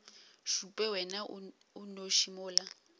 šupe wena o nnoši mola